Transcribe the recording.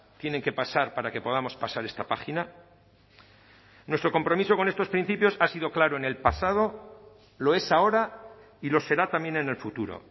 tienen que pasar para que podamos pasar esta página nuestro compromiso con estos principios ha sido claro en el pasado lo es ahora y lo será también en el futuro